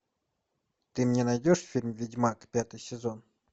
ты мне найдешь фильм ведьмак пятый сезон